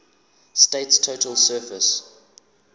state's total surface